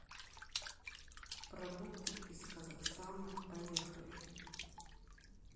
продукты из казахстана поехали